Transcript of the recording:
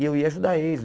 E eu ia ajudar eles.